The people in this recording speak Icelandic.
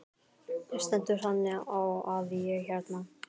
Það stendur þannig á að ég hérna.